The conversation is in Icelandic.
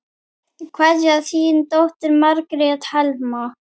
Kveðja, þín dóttir, Margrét Helma.